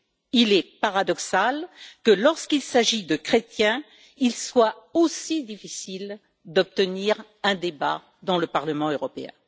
Il est paradoxal que lorsqu'il s'agit de chrétiens, il soit aussi difficile d'obtenir un débat au Parlement européen.